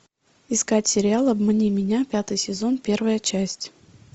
искать сериал обмани меня пятый сезон первая часть